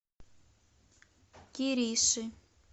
кириши